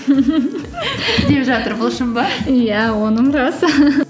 деп жатыр бұл шын ба иә оным рас